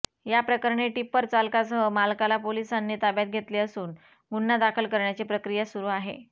याप्रकरणी टिप्पर चालकासह मालकाला पोलिसांनी ताब्यात घेतले असून गुन्हा दाखल करण्याची प्रक्रिया सुरू आहे